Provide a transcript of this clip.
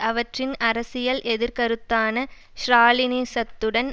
அவற்றின் அரசியல் எதிர்க்கருத்தான ஸ்ராலினிசத்துடன்